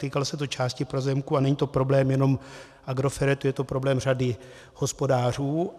Týkalo se to části pozemků a není to problém jenom Agrofertu, je to problém řady hospodářů.